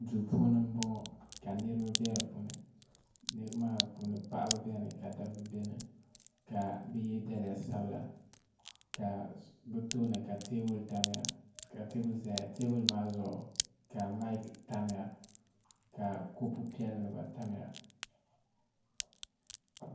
do puuni n bɔŋɔ ka niriba bɛ di puuni niriba maa puuni paɣ' bɛn ka da ba bɛni ka be yɛ daliya sabila ka bɛ tuuni ka tɛbuli tamiya ka tɛbuli zaya tɛbuli zuɣ' ka mayiki tamiya ka kopu piɛlla tamiya